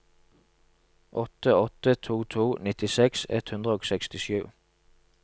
åtte åtte to to nittiseks ett hundre og sekstisju